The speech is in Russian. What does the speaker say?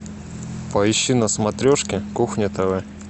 поищи на смотрешке кухня тв